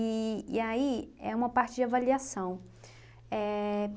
E e aí, é uma parte de avaliação. Éh